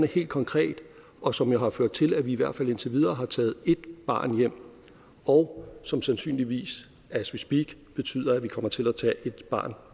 helt konkret og som har ført til at vi i hvert fald indtil videre har taget ét barn hjem og som sandsynligvis as we speak betyder at vi kommer til at tage et barn